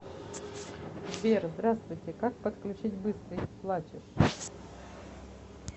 сбер здравствуйте как подключить быстрый плачешь